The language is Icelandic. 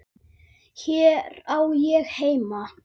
Hér á ég heima.